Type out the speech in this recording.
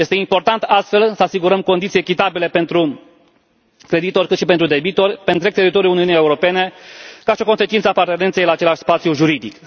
Este important, astfel, să asigurăm condiții echitabile pentru creditor, cât și pentru debitor pe întreg teritoriul Uniunii Europene, ca și o consecință a apartenenței la același spațiu juridic.